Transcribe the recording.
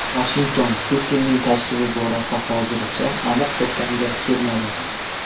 Vashington Putinning tashrifi borasida hozircha aniq to‘xtamga kelmadi.